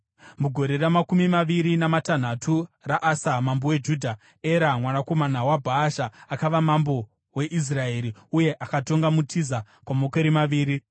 Mugore ramakumi maviri namatanhatu raAsa mambo weJudha, Era, mwanakomana waBhaasha akava mambo weIsraeri, uye akatonga muTiza kwamakore maviri.